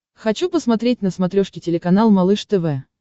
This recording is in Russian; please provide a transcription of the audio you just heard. хочу посмотреть на смотрешке телеканал малыш тв